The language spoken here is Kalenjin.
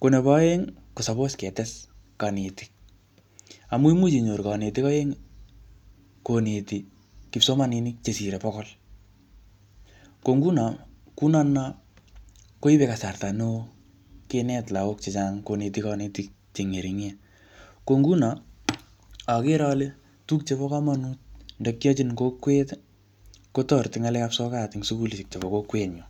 Ko nebo aeng, ko suppose ketes kanetik. Amu imuch inyoru kanetik aeng koneti kipsomaninik chesire bokol. Ko nguno, kuu notono, koibe kasarta neoo kinet lagok chechang koneti kanetik che ngeringen. Ko nguno, agere ale tuguk chebo komonut ndakiochin kokwet, kotereti en ngalekap sokat ing sukulishek chebo kokwet nyuu.